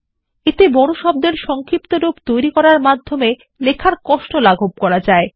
এতে বড় শব্দের সংক্ষিপ্তরূপ তৈরী করে লেখার কষ্ট লাঘব করা যায়